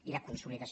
i la consoli·dació